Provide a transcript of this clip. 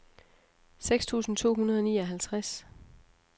seks tusind to hundrede og nioghalvtreds